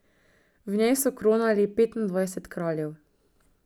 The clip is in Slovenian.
V njej so kronali petindvajset kraljev.